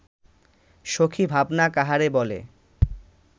সখী ভাবনা কাহারে বলে